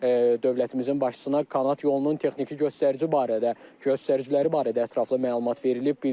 Dövlətimizin başçısına kanat yolunun texniki göstərici barədə, göstəriciləri barədə ətraflı məlumat verilib.